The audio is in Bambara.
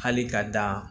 Hali ka dan